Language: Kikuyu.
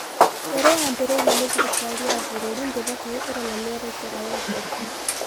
ĩrĩa yambĩrĩirio nĩ thirikari ya bũrũri ndĩbatie gũkorũo na mĩerekera ya ũteti